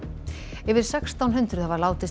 yfir sextán hundruð hafa látist í